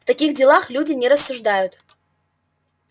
в таких делах люди не рассуждают